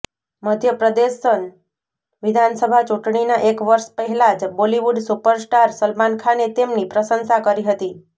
મધ્યપ્રદેશન વિધાનસભા ચૂંટણીના એક વર્ષ પહેલા જ બોલીવુડ સુપરસ્ટાર સલમાન ખાને તેમની પ્રશંસા કરી હતી